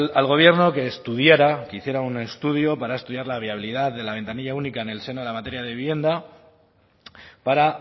al gobierno que estudiara que hiciera un estudio para estudiar la viabilidad de la ventanilla única en el seno de la materia de vivienda para